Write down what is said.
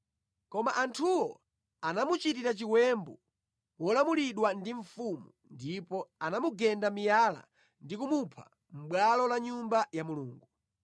Koma anthuwo anamuchitira chiwembu molamulidwa ndi mfumu ndipo anamugenda miyala ndi kumupha mʼbwalo la Nyumba ya Mulungu.